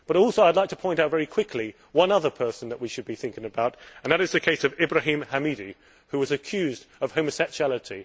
But I would also like to point out very quickly one other person that we should be thinking about and that is Ibrahim Hamidi, who was accused of homosexuality.